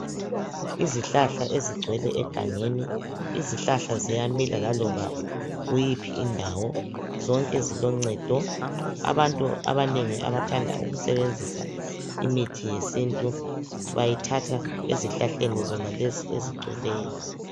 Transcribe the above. Izihlahla ezigcwele egangeni. Izihlahla ziyamila laloba kuyiphi indawo, zonke ziloncedo. Abantu abanengi abathanda ukusebenzisa imithi yesintu bayithatha ezihlahleni zonalezi ezigcweleyo